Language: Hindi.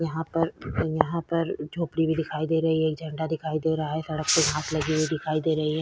यहाँ पर यहाँ पर झोंपड़ी भी दिखाई दे रही है एक झंडा दिखाई दे रहा है सड़क पे घांस लगी हुई दिखाई दे रही है।